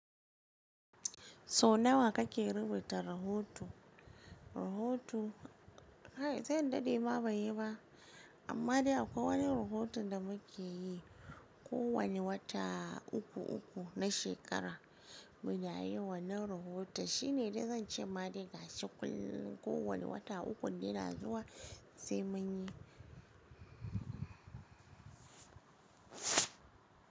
Sau nawa kake rubuta rahoto? Rahoto, kai zan daɗe ma ban yi ba. Amma dai akwai wani rahoton da muke yi, kowane wata uku uku na shekara muna yi. Wannan rahoto shine dai zan ce ma dai ga shi kullum, kowane wata ukun da yana zuwa sai mun yi.